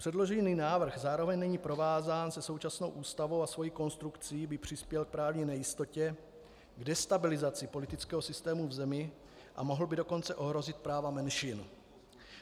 Předložený návrh zároveň není provázán se současnou Ústavou a svou konstrukcí by přispěl k právní nejistotě, k destabilizaci politického systému v zemi a mohl by dokonce ohrozit práva menšin.